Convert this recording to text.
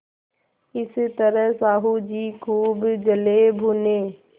इस तरह साहु जी खूब जलेभुने